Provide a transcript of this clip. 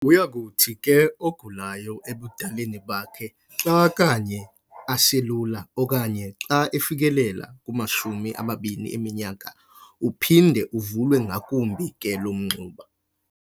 Uyakuthi ke ogulayo ebudaleni bakhe xa kanye aselula okanye xa efikelela kumashumi amabini eminyaka, uphinde uvulwe ngakumbi ke lo mngxuma.